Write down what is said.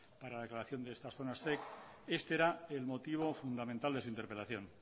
para la declaración de estas zonas zec este era el motivo fundamental de su interpelación